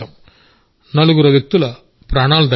నలుగురు వ్యక్తుల ప్రాణాలు దక్కాయి